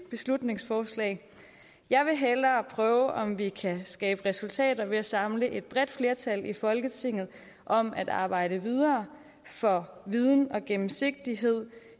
beslutningsforslag jeg vil hellere prøve om vi kan skabe resultater ved at samle et bredt flertal i folketinget om at arbejde videre for viden bag og gennemsigtighed